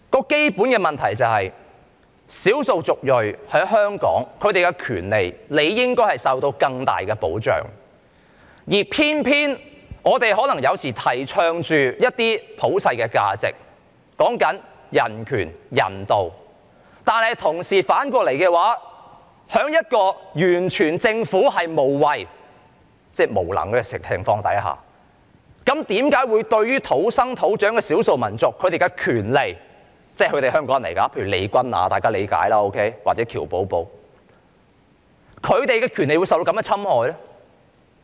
基本的問題是，少數族裔在香港的權利理應受到更大的保障，而偏偏有時候我們提倡的一些普世價值，說到人權、人道，反過來在政府完全無為——即無能的情況之下，土生土長的少數民族的權利，雖然大家都理解他們是香港人，例如利君雅或喬寶寶，但為何他們的權利卻受到侵害呢？